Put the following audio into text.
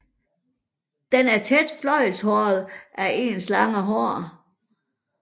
Den er tæt fløjlshåret af ens lange hår